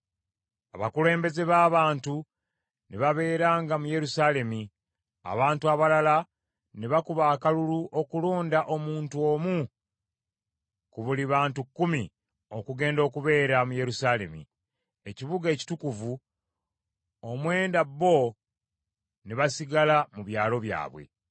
Abakulembeze b’abantu ne babeeranga mu Yerusaalemi, abantu abalala ne bakuba akalulu okulonda omuntu omu ku buli bantu kkumi okugenda okubeera mu Yerusaalemi, ekibuga ekitukuvu; omwenda bo ne basigala mu byalo byabwe.